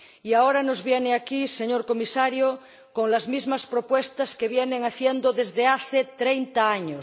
Y ahora nos viene aquí, señor Comisario, con las mismas propuestas que vienen haciendo desde hace treinta años.